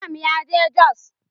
Imam ya je jos.